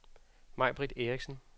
Majbrit Erichsen